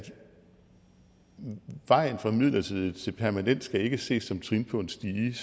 vejen fra midlertidigt til permanent ikke skal ses som trin på en stige